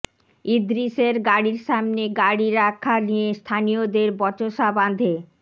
ইদ্রিশের গাড়ির সামনে গাড়ি রাখা নিয়ে স্থানীয়দের বচসা বাধে